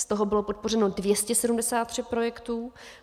Z toho bylo podpořeno 273 projektů.